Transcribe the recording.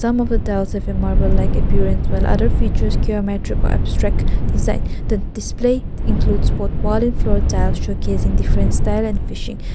of a marble like appearance while other features geometric or abstract design the display includes both wall and floor tiles showcasing different style and fishing.